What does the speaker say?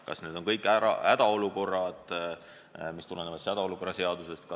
Kas need on kõik hädaolukorrad, mis tulenevad hädaolukorra seadusest?